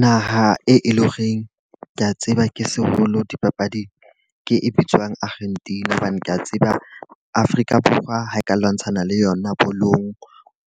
Naha e e le horeng ke a tseba ke seholo dipapading, ke e bitswang Argentina. Hobane ke a tseba Afrika Borwa ha e ka lwantshana le yona bolong,